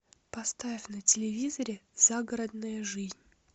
поставь на телевизоре загородная жизнь